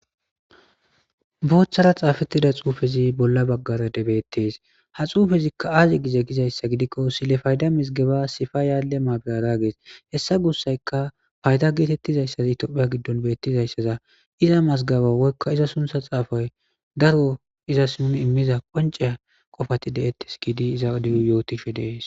Booththara xaafettida xuufezi bolla baggara debettees ha xuufezikka aazi gize gizayssa gidikko silefayda misgeba sifa yaale ma birara gees hessa gussayka payda geetettizayssaz itophiya giddon beettizayssaza iza mazgaba woykka iza suntha xaafay daro izas nun immiza qonceya qofati de7ettes giidi iza diy yootishe dees.